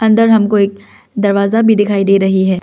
अंदर हमको एक दरवाजा भी दिखाई दे रही है।